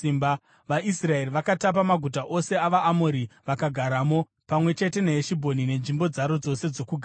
VaIsraeri vakatapa maguta ose avaAmori vakagaramo, pamwe chete neHeshibhoni nenzvimbo dzaro dzose dzokugara.